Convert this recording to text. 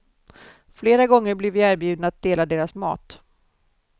Flera gånger blir vi erbjudna att dela deras mat.